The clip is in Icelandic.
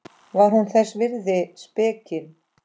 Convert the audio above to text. Var hún þess virði spekin?